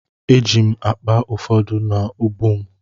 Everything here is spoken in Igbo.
Eji m akpa ụfọdụ n’ubu m.